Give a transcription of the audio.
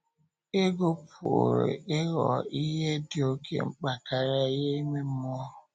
Ego pụrụ ịghọ ihe dị oké mkpa karịa ihe ime mmụọ.